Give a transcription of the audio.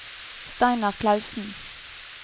Steinar Clausen